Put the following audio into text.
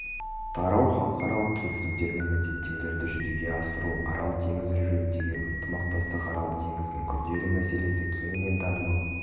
тарау халықаралық келісімдер мен міндеттемелерді жүзеге асыру арал теңізі жөніндегі ынтымақтастық арал теңізінің күрделі мәселесі кеңінен танымал